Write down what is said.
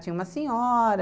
Tinha uma senhora.